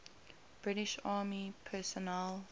british army personnel